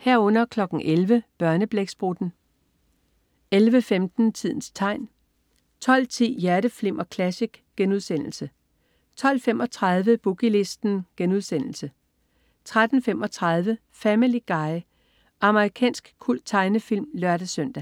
11.00 Børneblæksprutten 11.15 Tidens tegn 12.10 Hjerteflimmer Classic* 12.35 Boogie Listen* 13.35 Family Guy. Amerikansk kulttegnefilm (lør-søn)